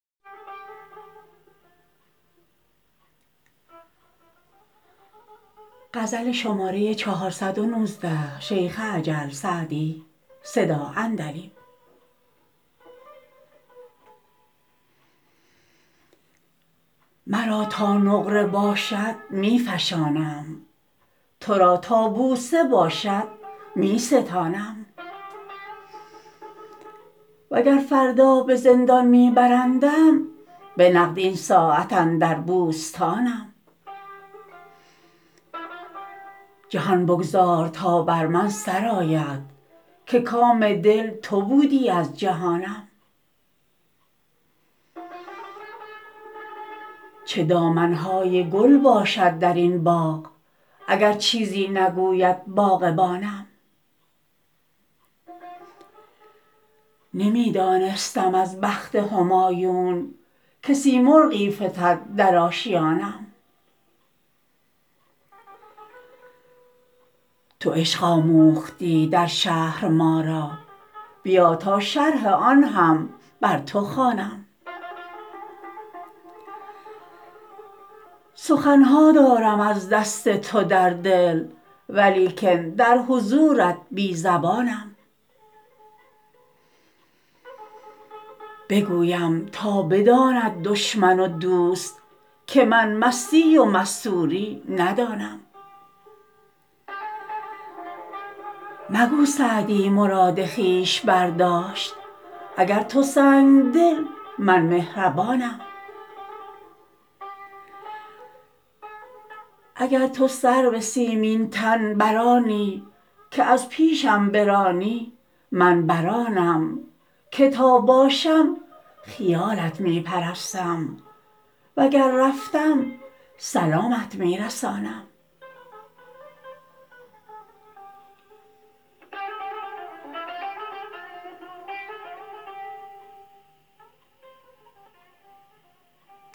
مرا تا نقره باشد می فشانم تو را تا بوسه باشد می ستانم و گر فردا به زندان می برندم به نقد این ساعت اندر بوستانم جهان بگذار تا بر من سر آید که کام دل تو بودی از جهانم چه دامن های گل باشد در این باغ اگر چیزی نگوید باغبانم نمی دانستم از بخت همایون که سیمرغی فتد در آشیانم تو عشق آموختی در شهر ما را بیا تا شرح آن هم بر تو خوانم سخن ها دارم از دست تو در دل ولیکن در حضورت بی زبانم بگویم تا بداند دشمن و دوست که من مستی و مستوری ندانم مگو سعدی مراد خویش برداشت اگر تو سنگدلی من مهربانم اگر تو سرو سیمین تن بر آنی که از پیشم برانی من بر آنم که تا باشم خیالت می پرستم و گر رفتم سلامت می رسانم